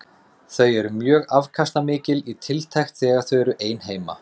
Þau eru mjög afkastamikil í tiltekt þegar þau eru ein heima.